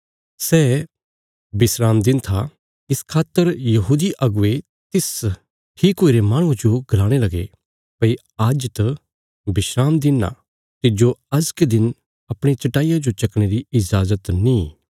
सै विस्राम दिन था इस खातर यहूदी अगुवे तिस ठीक हुईरे माहणुये जो गलाणे लगे भई आज्ज त विस्राम दिन आ तिज्जो अजके दिन अपणिया चट्टाईया जो चकणे री इजाजत नीं